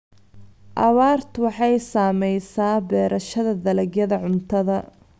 Abaartu waxay saamaysaa beerashada dalagyada cuntada.